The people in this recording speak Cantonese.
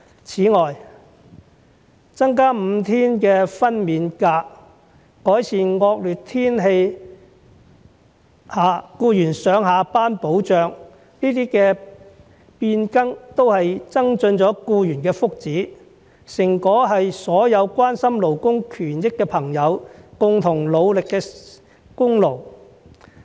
此外，增加5天的分娩假、改善惡劣天氣下僱員上下班的保障，這些變更都增進了僱員的福祉，成果是所有關心勞工權益的朋友共同努力的功勞。